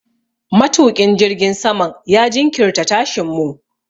Matuƙin jirgin saman ya jinkirta tashin mu.